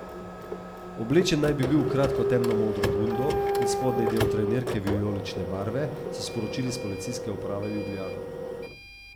Oblečen naj bi bil v kratko temno modro bundo in spodnji del trenirke vijolične barve, so sporočili s Policijske uprave Ljubljana.